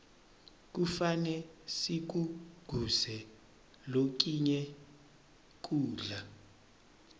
kufane sikuguze lokinye kudla